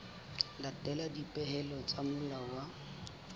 latela dipehelo tsa molao wa